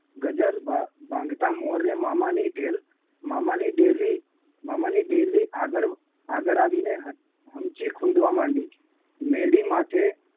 ગજર ભા ભાંગતા મોરે મામાની ઢેલ મામાની ડેલી મામાની ડેલી આગળ આગળ આવીને હ હમચી ખૂંદવા માંડી મેડી માથે